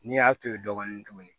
N'i y'a to yen dɔɔnin tuguni